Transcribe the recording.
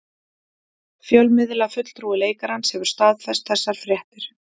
Fjölmiðlafulltrúi leikarans hefur staðfest þessar fréttir